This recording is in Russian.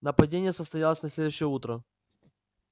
нападение состоялось на следующее утро